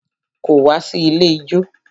Kò wá sí ilé ijó.